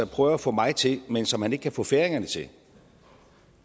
prøver at få mig til men som han ikke kan få færingerne til